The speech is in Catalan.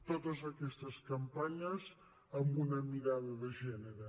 totes aquestes campanyes amb una mirada de gènere